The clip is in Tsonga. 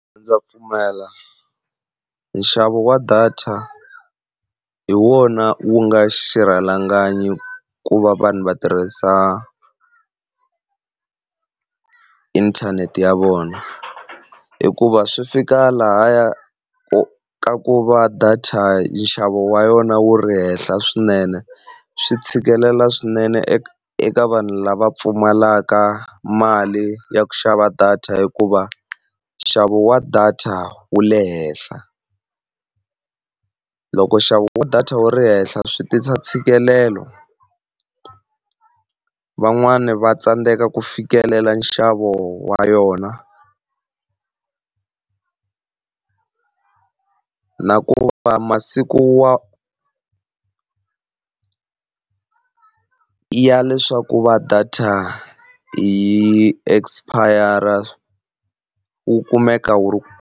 Ndza pfumela nxavo wa data hi wona wu nga xirhalanganyi ku va vanhu va tirhisa inthanete ya vona, hikuva swi fika lahaya ku ka ku va data nxavo wa yona wu ri henhla swinene. Swi tshikelela swinene eka eka vanhu lava pfumalaka mali ya ku xava data hikuva nxavo wa data wu le henhla. Loko nxavo wa data wu ri henhla swi tisa ntshikelelo van'wani va tsandzeka ku fikelela nxavo wa yona, na ku va masiku wa ya leswaku ku va data yi expire wu kumeka wu.